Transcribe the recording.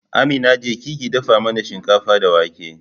Amina, jeki ki dafa mana shinkafa da wake